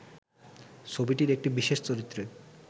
ছবিটির একটি বিশেষ চরিত্রে